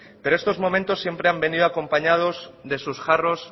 pero estos momentos siempre han venido acompañados de sus jarros